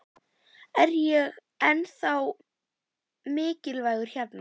Er ég ennþá mikilvægur hérna?